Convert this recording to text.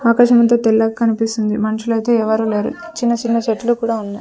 ఆకాశమంతా తెల్లగ కనిపిస్తుంది మనుషులైతే ఎవరూ లేరు చిన్న చిన్న చెట్లు కూడా ఉన్నాయ్.